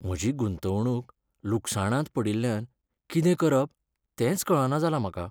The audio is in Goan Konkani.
म्हजी गुंतवणूक लुकसाणांत पडिल्ल्यान कितें करप तेंच कळना जालां म्हाका.